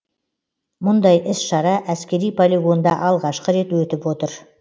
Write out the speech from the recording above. мұндай іс шара әскери полигонда алғашқы рет өтіп отыр